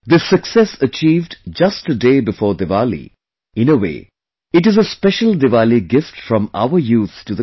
This success achieved just a day before Diwali, in a way, it is a special Diwali gift from our youth to the country